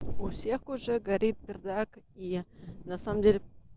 у всех уже горит пердак и на самом деле